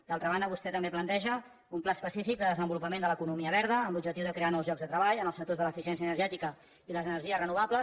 d’altra banda vostè també planteja un pla específic de desenvolupament de l’economia verda amb l’objectiu de crear nous llocs de treball en els sectors de l’eficièn cia energètica i les energies renovables